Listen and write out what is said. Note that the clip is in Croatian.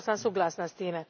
Potpuno sam suglasna s tim.